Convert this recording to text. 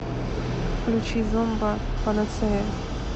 включи зомба панацея